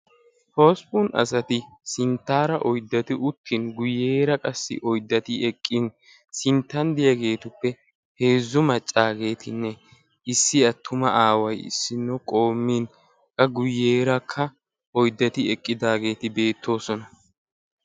hosppun asati sinttaara oyiddati uttin guyyeera qassi oyiddati eqqin sinttan diyageetuppe heezzu maccaagetinne issi attuma aaway issinno qoommin qa guyyeerakka oyiddati eqqidaageeti beettoosona.